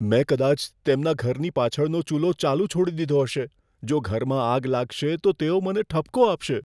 મેં કદાચ તેમના ઘરની પાછળનો ચૂલો ચાલુ છોડી દીધો હશે. જો ઘરમાં આગ લાગશે, તો તેઓ મને ઠપકો આપશે.